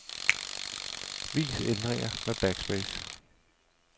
Vis ændringer med backspace.